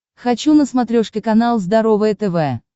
хочу на смотрешке канал здоровое тв